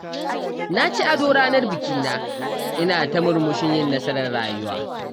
Na ci ado ranar bikina, ina ta murmushin yin nasarar rayuwa